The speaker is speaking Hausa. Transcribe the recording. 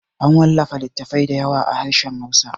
An wallafa littattafai da yawa da harshen hausa